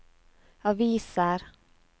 aviser